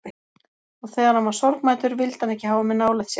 Og þegar hann var sorgmæddur vildi hann ekki hafa mig nálægt sér.